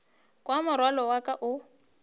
kwa morwalo wa ka o